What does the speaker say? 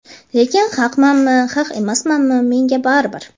Lekin haqmanmi, haq emasmanmi, menga baribir.